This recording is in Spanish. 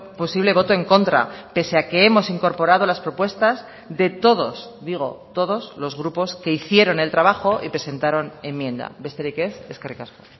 posible voto en contra pese a que hemos incorporado las propuestas de todos digo todos los grupos que hicieron el trabajo y presentaron enmienda besterik ez eskerrik asko